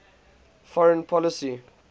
foreign policy